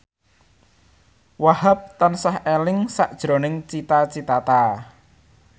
Wahhab tansah eling sakjroning Cita Citata